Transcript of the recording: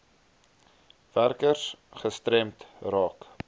werkers gestremd raak